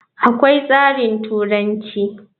Akwai tsarin turanci.